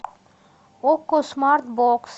окко смарт бокс